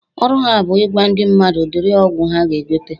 ..ọrụ ha bụ ịgwa ndị mmadụ udiri ọgwụ ha ga-egote.